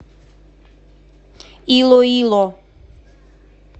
илоило